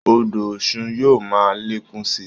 Odò Ọ̀ṣun yóò máa lékún sí i